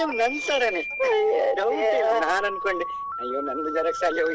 Same ನನ್ ತರಾನೇ ಇಲ್ಲ ನಾನ್ ಅನ್ಕೊಂಡೆ ಅಯ್ಯೋ ನಂದೇ xerox ಅಲ್ಲಿ ಹೋಯ್ತ್.